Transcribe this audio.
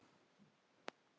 Svona einfalt er það.